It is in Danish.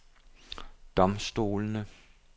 domstolene